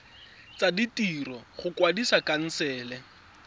tsa ditiro go kwadisa khansele